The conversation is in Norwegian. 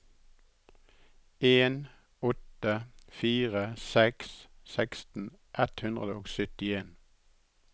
en åtte fire seks seksten ett hundre og syttien